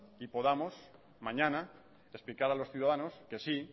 y podamos mañana explicar a los ciudadanos que sí